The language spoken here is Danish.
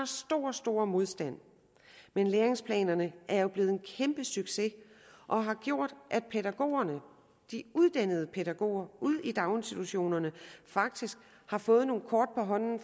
stor stor modstand men læringsplanerne er jo blevet en kæmpe succes og har gjort at pædagogerne de uddannede pædagoger ude i daginstitutionerne faktisk har fået nogle kort på hånden